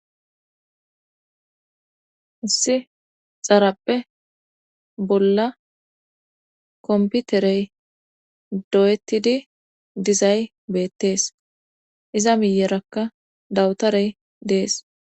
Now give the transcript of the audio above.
Issi xarappe bolla komputerey do7etidi dizay beettees iza miyerakka dawutarey dees.